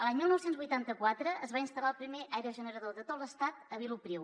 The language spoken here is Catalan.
l’any dinou vuitanta quatre es va instal·lar el primer aerogenerador de tot l’estat a vilopriu